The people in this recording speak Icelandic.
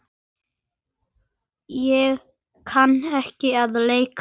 Ég kann ekki að leika.